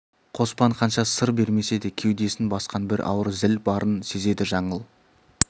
қоспан қанша сыр бермесе де кеудесін басқан бір ауыр зіл барын сезеді жаңыл